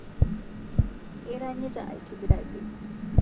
Iranyita aitibiraki